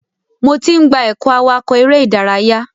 Mo ti n gba ẹkọ awakọ eré ìdárayá.